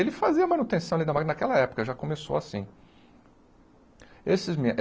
Ele fazia manutenção ali na má naquela época, já começou assim. Esses